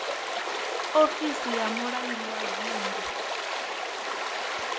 ofisi ya mulangi wa dzingu